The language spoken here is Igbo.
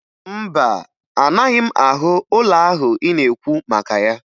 Mba, anaghị m ahụ ụlọ ahụ ị na-ekwu maka ya